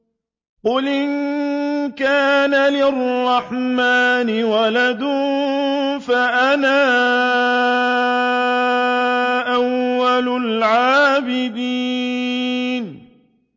قُلْ إِن كَانَ لِلرَّحْمَٰنِ وَلَدٌ فَأَنَا أَوَّلُ الْعَابِدِينَ